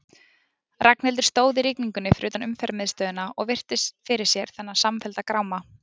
Ragnhildur stóð í rigningunni fyrir utan Umferðarmiðstöðina og virti fyrir sér þennan samfellda gráma.